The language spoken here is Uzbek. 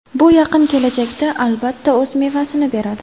Bu yaqin kelajakda albatta o‘z mevasini beradi.